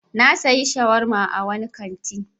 Na sayi shawarma a wani kanti.